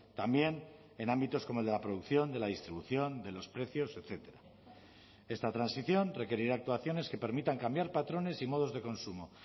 también en ámbitos como el de la producción de la distribución de los precios etcétera esta transición requerirá actuaciones que permitan cambiar patrones y modos de consumo